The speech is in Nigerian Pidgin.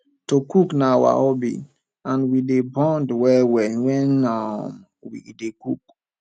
to cook na our hobby and we dey bond wellwell wen um we dey cook